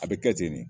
A bɛ kɛ ten de